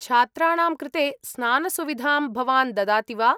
छात्राणां कृते स्नानसुविधां भवान् ददाति वा?